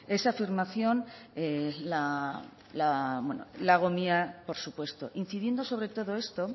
esa afirmación la hago mía por supuesto incidiendo sobre todo esto